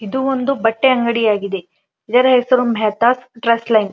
ಇದು ಒಂದು ಬಟ್ಟೆ ಅಂಗಡಿಯಾಗಿದೆಇದರ ಹೆಸರು ಮೆಹತಾಸ್ ಡ್ರೆಸ್ ಲೈನ್ .